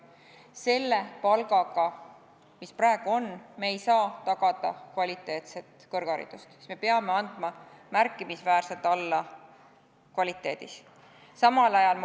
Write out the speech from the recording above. Selle palgaga, mis praegu on, me ei saa tagada kvaliteetset kõrgharidust, me peame andma märkimisväärselt alla kvaliteedis.